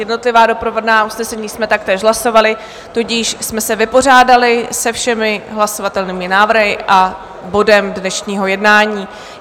Jednotlivá doprovodná usnesení jsme taktéž hlasovali, tudíž jsme se vypořádali se všemi hlasovatelnými návrhy a bodem dnešního jednání.